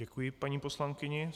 Děkuji paní poslankyni.